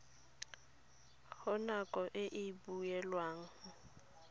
go nako e e beilweng